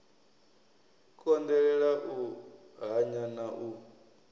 konḓelela u hanya na u